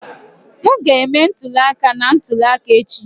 M ga-eme ntuli aka na ntuli aka echi